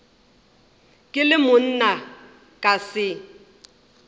ke le monna ka se